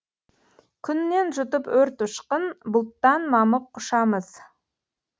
күннен жұтып өрт ұшқын бұлттан мамық құшамыз